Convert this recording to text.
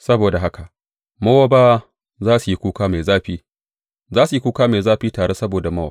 Saboda haka Mowabawa za su yi kuka mai zafi, za su yi kuka mai zafi tare saboda Mowab.